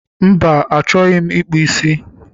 Mba, achọghị m ịkpụ ísí